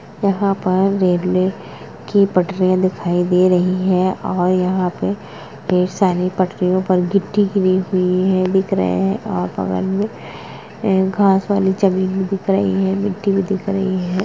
यहाँ पर रेलवे की पटरी या दिखाई दे रही है और यहाँ पे कई सारे पटरियो पर गीटी गीरी हुई दिख रहे है और बगल में घास वाले जमीन भी दिख रहे है गीटी भी दिख रही है।